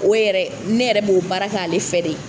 O yɛrɛ ne yɛrɛ b'o baara kɛ ale fɛ de.